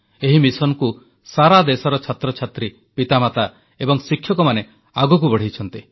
ଏହି ମିଶନକୁ ସାରାଦେଶର ଛାତ୍ରଛାତ୍ରୀ ପିତାମାତା ଏବଂ ଶିକ୍ଷକମାନେ ଆଗକୁ ବଢ଼ାଇଛନ୍ତି